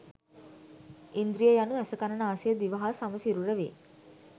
ඉන්ද්‍රිය යනු ඇස කන නාසය දිව හා සම සිරුර වේ